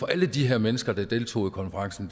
alle de her mennesker der deltog i konferencen